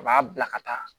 A b'a bila ka taa